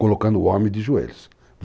Colocando o homem de joelhos.